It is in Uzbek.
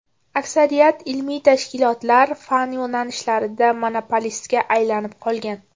Aksariyat ilmiy tashkilotlar fan yo‘nalishlarida monopolistga aylanib qolgan.